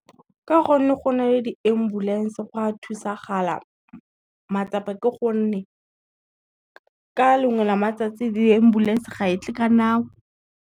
Ka gonne go na le di-ambulance go o a thusagala matsapa ke gonne, ka lengwe la matsatsi di-ambulance ga e tle ka nako.